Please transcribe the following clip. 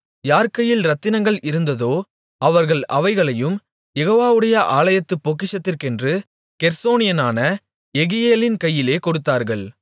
யார் கையில் ரத்தினங்கள் இருந்ததோ அவர்கள் அவைகளையும் யெகோவாவுடைய ஆலயத்துப் பொக்கிஷத்திற்கென்று கெர்சோனியனான யெகியேலின் கையிலே கொடுத்தார்கள்